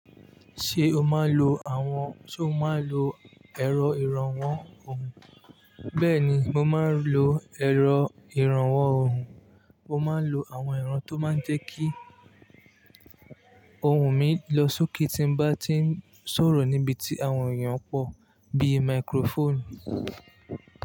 Ṣé o máa ń lo àwọn, ṣe o máa ń lo ẹ̀rọ ìrànwọ́ orùn? Bẹ́ẹ̀ ni, mo máa ń lo ẹ̀rọ ìrànwọ́ orùn. Mo máa ń lo àwọn ero tó máa ń jẹ́ kí ohùn mi lọ sókè tí n bá ti ń sọ̀rọ̀ níbi tí àwọn èèyàn pọ̀, bíi microphone.